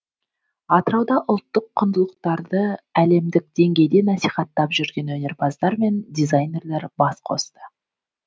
атырауда ұлттық құндылықтарды әлемдік деңгейде насихаттап жүрген өнерпаздар мен дизайнерлер бас қосты